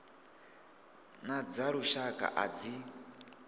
na dza lushaka a dzi